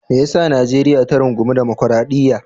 Me ya sa Najeriya ta rungumi dimokradiyya?